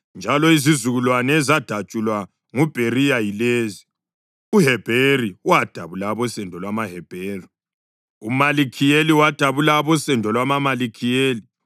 njalo izizukulwane ezadatshulwa nguBheriya yilezi: uHebheri wadabula abosendo lwamaHebheri; uMalikhiyeli wadabula abosendo lwamaMalikhiyeli.